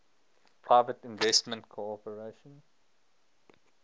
private investment corporation